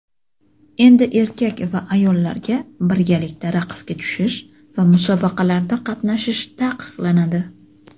endi erkak va ayollarga birgalikda raqsga tushish va musobaqalarda qatnashish taqiqlanadi.